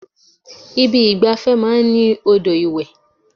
Ibi ìgbafẹ́ máa ń ní odò ìwẹ̀.